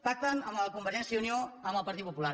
pacten convergència i unió amb el partit popular